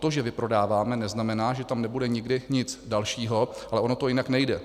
To, že vyprodáváme, neznamená, že tam nebude nikdy nic dalšího, ale ono to jinak nejde.